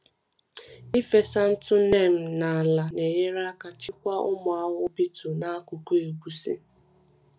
Ịfesa ntụ ntụ neem n’ala na-enyere aka chịkwaa ụmụ ahụhụ beetle n’akụkụ egusi.